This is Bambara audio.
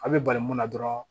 A' bɛ bali mun na dɔrɔn